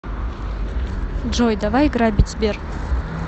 джой давай грабить сбер